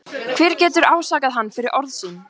Hver getur ásakað hann fyrir orð sín?